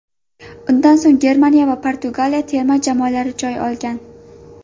Undan so‘ng Germaniya va Portugaliya terma jamoalari joy olgan.